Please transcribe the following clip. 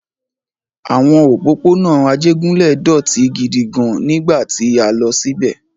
Àwọn òpópónà Ajégúnlẹ̀ dọ̀tí gidi gan-an nígbà tí a lọ síbẹ̀.